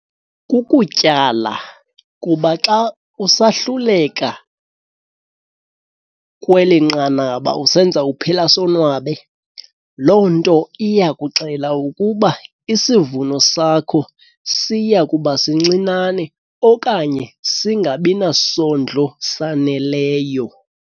Kukutyala kuba xa usahluleka kweli nqanaba usenza uphela sonwabe, loo nto iyakuxela ukuba isivuno sakho siya kuba sincinane okanye singabi nasondlo saneleyo.